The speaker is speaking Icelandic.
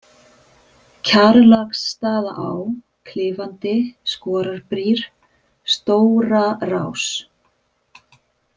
Kjarlaksstaðaá, Klifandi, Skorarbrýr, Stórarás